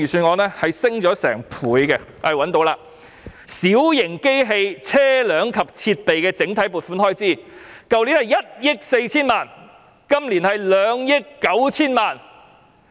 我讀出有關的數字，小型機器、車輛及設備整體撥款開支，上年度是1億 4,000 萬元，本年度是2億 9,000 萬元。